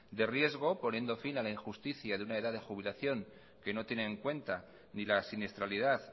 de riesgo poniendo en fin a la injusticia de una edad de jubilación que no tiene en cuenta ni la siniestralidad